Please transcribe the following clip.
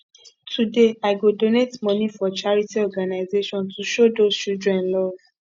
today i go donate monie for charity organization to show those children love